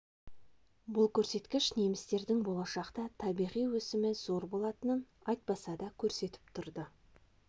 бұл көрсеткіш немістердің болашақта табиғи өсімі зор болатынын айтпаса да көрсетіп тұрды